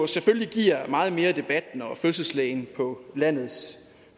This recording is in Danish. selvfølgelig giver meget mere debat når fødselslægen på landets